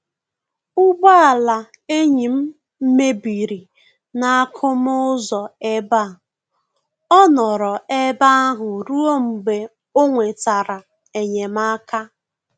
Ụgbọ ala enyi m mebiri n'akụmụ ụzọ ebe a, ọ nọrọ ebe ahụ ruo mgbe o nwetara enyemaka